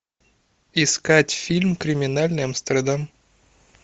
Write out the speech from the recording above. искать фильм криминальный амстердам